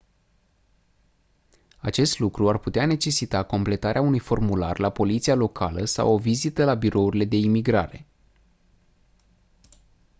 acest lucru ar putea necesita completarea unui formular la poliția locală sau o vizită la birourile de imigrare